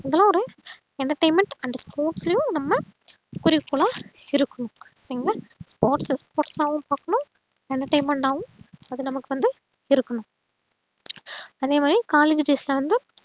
entertainment and sports லையும் நம்ம குறிக்கோளா இருக்கணும் okay ங்லா sports sports ஆவும் பாக்கணும் entertainment ஆவும் அது நமக்கு வந்து இருக்கணும் அதேமாறி collage days ல வந்து